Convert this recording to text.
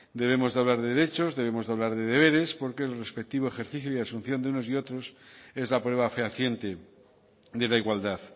debemos de hablar de derechos debemos de hablar de deberes porque el respectivo ejercicio de asunción de unos y otros es la prueba fehaciente de la igualdad